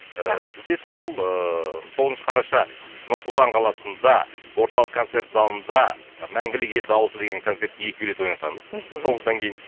ііі бізде сол ыыы тоғызыншы қараша нұр сұлтан қаласында орталық концерт залында мәңгілік ел дауысы деген концертке екі билет ойнатамыз мхм тоғыздан кейін